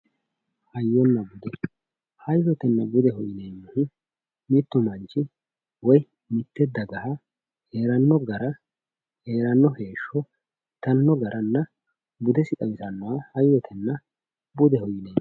hayyonna bude hayyotenna budeho yineemmohu mittu manchi woyi mitte dagaha heeranno gara heeranno heeshsho itanno garanna budesi xawisannoha hayyotenna budeho yineemmo